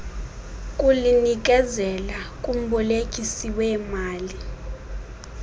kulinikezela kumbolekisi weemali